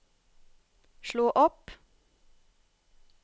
slå opp